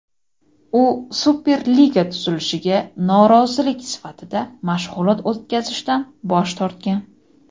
u Superliga tuzilishiga norozilik sifatida mashg‘ulot o‘tkazishdan bosh tortgan.